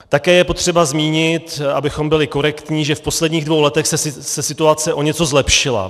Také je potřeba zmínit, abychom byli korektní, že v posledních dvou letech se situace o něco zlepšila.